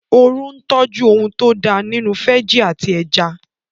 Oru ń tọ́jú ohun tó da nínú fẹ́jì àti ẹja